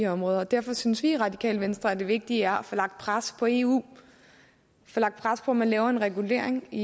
områder og derfor synes vi i radikale venstre at det vigtige er at få lagt pres på eu få lagt pres på at man laver en regulering i